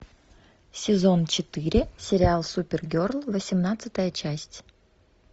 сезон четыре сериал супергерл восемнадцатая часть